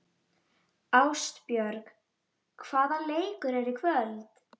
Ástbjörg, hvaða leikir eru í kvöld?